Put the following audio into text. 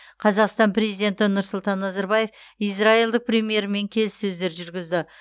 қазақстан президенті нұрсұлтан назарбаев израильдік премьермен келіссөздер жүргізді